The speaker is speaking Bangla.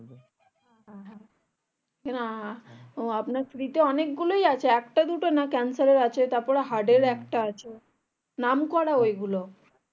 হ্যাঁ আহ আপনাকে free তে অনেক গুলোই আছে একটা দুটো না ক্যান্সার এর আছে তারপর heart এর একটা আছে নাম করা ওই গুলো